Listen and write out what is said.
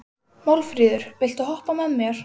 Málfríður, viltu hoppa með mér?